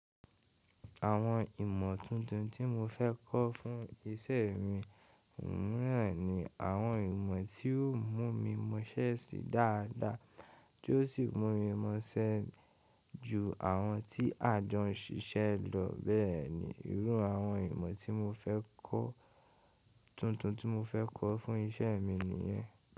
Àwọn ìmọ̀ tuntun tí mo fẹ́ kọ́ fún iṣẹ́ mi, wù mí ràn ni àwọn ìmọ̀ tí yóò mú mi mọṣẹ́ sí dáadáa tí ó sì mú mi mọṣẹ ju àwọn tí àjọ ń ṣiṣẹ́ lọ bẹ́ẹ̀ni. Irú àwọn ìmọ̀ tuntun tí mo fẹ́ kọ́ fún iṣẹ́ mi nìyẹn.